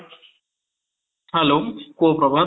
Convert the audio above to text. hello, କୁହ ପ୍ରଭାତ